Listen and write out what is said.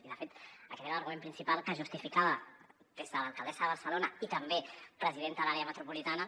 i de fet aquest era l’argument principal que justificava des de l’alcaldessa de barcelona i també presidenta de l’àrea metropolitana